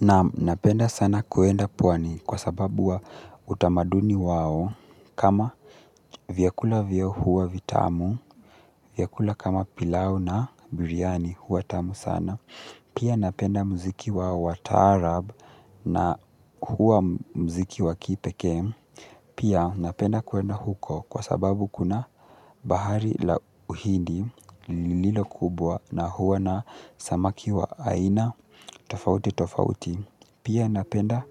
Nam napenda sana kuenda pwani kwa sababu wa utamaduni wao kama vyakula vyao huwa vitamu, vyakula kama pilau na biryani huwa tamu sana. Pia napenda muziki wao wa taarab na huwa muziki wa kipekee. Pia napenda kuenda huko kwa sababu kuna bahari la uhidi lilo kubwa na huwa na samaki wa aina tofauti tofauti. Pia napenda